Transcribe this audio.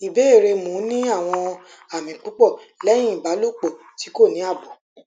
ìbéèrè mo n ni awon ami pupo lehin ibalopo ti ko ni abo